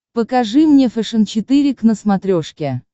покажи мне фэшен четыре к на смотрешке